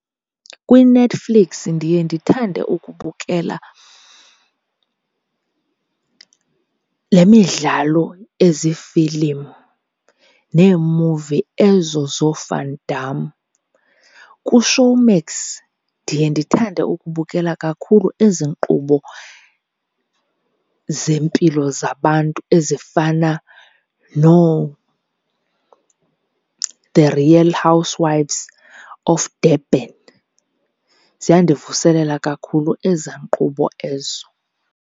KwiNetflix ndiye ndithande ukubukela le midlalo ezifilimu neemuvi ezo zooVan Damme. KuShowmax ndiye ndithande ukubukela kakhulu ezi nkqubo zeempilo zabantu ezifana nooThe Real Housewives of Durban. Ziyandivuselela kakhulu ezaa nkqubo ezo.